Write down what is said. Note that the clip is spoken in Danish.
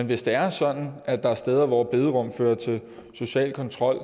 hvis det er sådan at der er steder hvor bederum fører til social kontrol